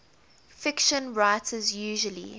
fiction writers usually